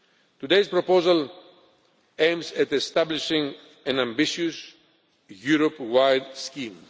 Today's proposal aims at establishing an ambitious Europe wide scheme.